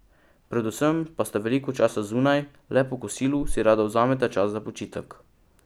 Predvsem pa sta veliko časa zunaj, le po kosilu si rada vzameta čas za počitek.